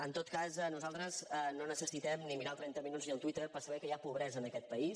en tot cas nosaltres no necessitem ni mirar el trenta minuts ni el twitter per saber que hi ha pobresa en aquest país